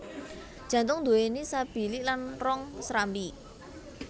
Jantung duwéni sabilik lan rong serambi